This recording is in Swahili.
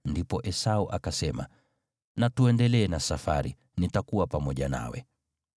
Ndipo Esau akasema, “Na tuendelee na safari, nitakuwa pamoja nawe.”